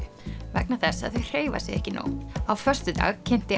vegna þess að þau hreyfa sig ekki nóg á föstudag kynnti